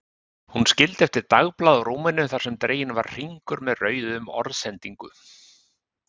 Hún skildi eftir dagblað á rúminu þar sem dreginn var hringur með rauðu um orðsendingu